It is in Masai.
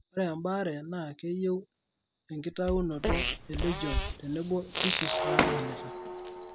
Ore embaare naa keiyieu enkitaiunoto e legion tenebo tissues naamanita